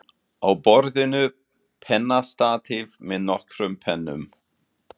Á borðinu pennastatíf með nokkrum pennum.